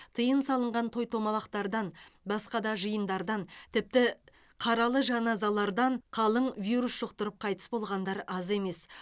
тыйым салынған той томалақтардан басқа да жиындардан тіпті қаралы жаназалардан қалың вирус жұқтырып қайтыс болғандар аз емес